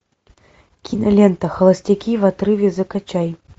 кинолента холостяки в отрыве закачай